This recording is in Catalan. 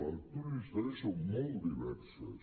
les lectures de la història són molt diverses